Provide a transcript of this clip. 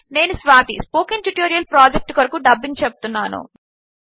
నేను Swathi spoken tutorial project కొరకు dubbing చెపుతున్నాను